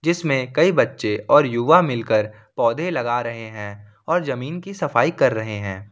इसमें कई बच्चे और युवा मिलकर पौधे लगा रहे हैं और जमीन की सफाई कर रहे हैं।